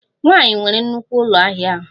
Nwanyị nwere nnukwu ụlọ ahịa ahụ